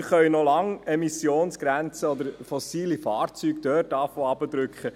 Wir können dort noch lange beginnen, Emissionsgrenzen oder fossile Fahrzeuge herunterzudrücken.